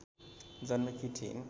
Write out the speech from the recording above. जन्मेकी थिइन्